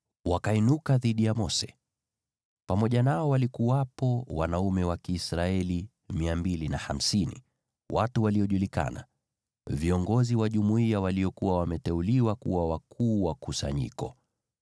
wakainuka dhidi ya Mose. Pamoja nao walikuwepo wanaume wa Kiisraeli 250, watu waliojulikana, viongozi wa jumuiya waliokuwa wameteuliwa kuwa wakuu wa kusanyiko.